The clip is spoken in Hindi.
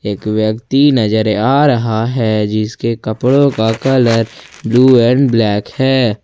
एक व्यक्ति नजर आ रहा है जिसके कपड़ों का कलर ब्लू एंड ब्लैक है ।